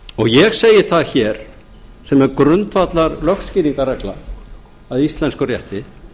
ég segi það hér sem er grundvallarlögskýringarregla að íslenskum rétti